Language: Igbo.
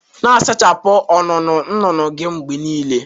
Na-asachapụ ọnụnụ nnụnụ gị mgbe niile